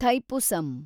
Thaipusam